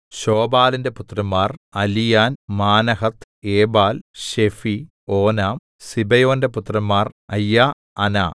ശോബാലിന്റെ പുത്രന്മാർ Alian Manahath Ebal Shephi Onam സിബെയോന്റെ പുത്രന്മാർ അയ്യാ അനാ